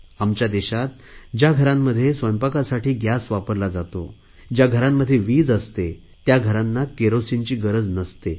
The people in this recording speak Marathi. आमच्या देशात ज्या घरांमध्ये स्वयंपाकासाठी गॅस वापरला जातो ज्या घरांमध्ये वीज असते त्या घरांना केरोसिनची गरज नसते